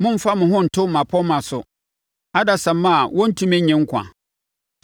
Mommfa mo ho nto mmapɔmma so, adasamma a wɔrentumi nnye nkwa.